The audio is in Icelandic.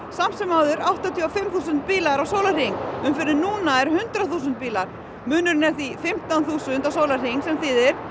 samt sem áður áttatíu og fimm þúsund bílar á sólarhring umferðin núna er hundrað þúsund bílar munurinn er því fimmtán þúsund á sólarhring sem þýðir